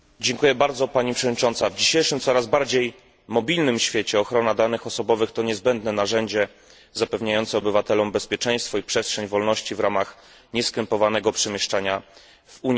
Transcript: W dzisiejszym, coraz bardziej mobilnym świecie ochrona danych osobowych to niezbędne narzędzie zapewniające obywatelom bezpieczeństwo i przestrzeń wolności w ramach nieskrępowanego przemieszczania w Unii Europejskiej.